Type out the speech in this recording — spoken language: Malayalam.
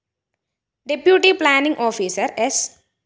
ഡെപ്യൂട്ടി പ്ലാനിംഗ്‌ ഓഫീസർ സ്‌